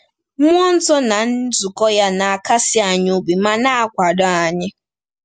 Mmụọ nsọ na nzukọ ya na-akasi anyị obi ma na-akwado anyị.